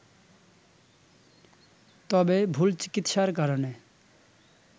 তবে ভুল চিকিৎসার কারনে